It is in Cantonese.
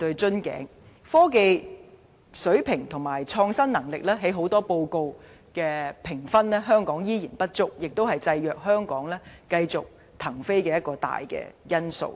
香港的科技水平與創新能力在很多國際評級報告的評分依然不足，這也是限制香港繼續騰飛的一大因素。